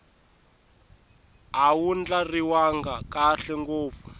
a wu ndlariwanga kahle ngopfu